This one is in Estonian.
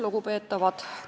Lugupeetavad!